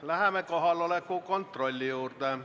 Läheme kohaloleku kontrolli juurde.